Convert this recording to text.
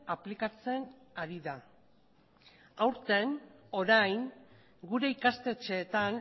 aplikatzen ari da aurten orain gure ikastetxeetan